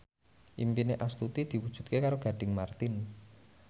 impine Astuti diwujudke karo Gading Marten